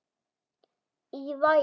Í Vogi.